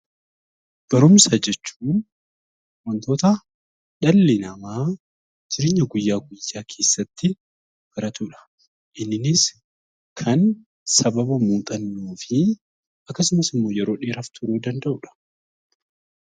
Barumsa jechuun wantoota dhalli namaa jireenya guyyaa guyyaa keessatti baratu dha. Inniinis kan sababa muuxannoo fi akkasumas immoo yeroo dhaaraaf turuu danda'u dha.